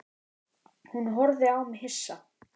Hún horfði á mig hissa.